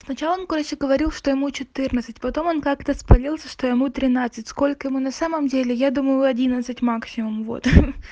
с начала короче он говорил что ему четырнадцать потом он как-то спалился что ему тринадцать сколько ему на самом деле я думаю одиннадцать максимум вот ха